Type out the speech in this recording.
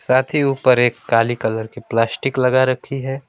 साथ ही ऊपर एक काली कलर की प्लास्टिक लगा रखी है।